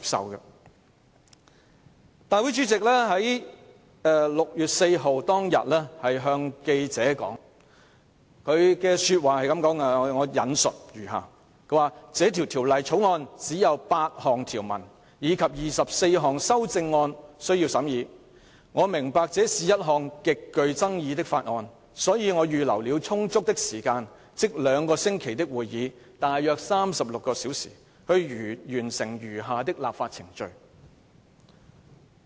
我引述立法會主席在6月4日當天向記者說的話："這項《條例草案》只有8項條文，以及24項修正案，我明白這是一項極具爭議的法案，所以我預留了充足的時間，即兩個星期的會議，大約36小時，去完成餘下的立法程序。